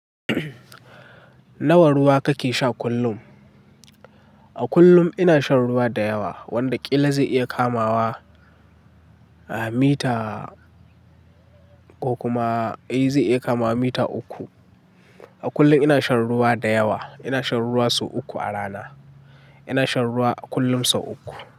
Nawa ruwa kake sha kullum? A kullum ina shan ruwa da yawa wanda ƙila zai iya kamawa, ah, mita ko kuma ai zai iya kamawa mita uku. A kullum ina shan ruwa da yawa. Ina shan ruwa sau uku a rana. Ina shan ruwa a kullum sau uku.